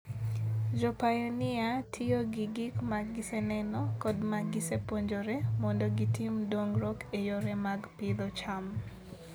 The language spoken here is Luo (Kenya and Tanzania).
Jopainia tiyo gi gik ma giseneno kod ma gisepuonjore mondo gitim dongruok e yore mag pidho cham.